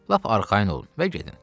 Lap arxayın olun və gedin.